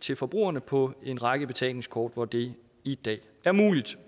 til forbrugerne på en række betalingskort hvor det i dag er muligt